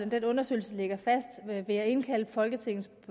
den undersøgelse ligger fast vil jeg indkalde folketingets